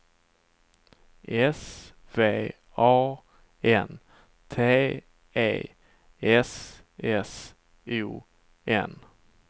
S V A N T E S S O N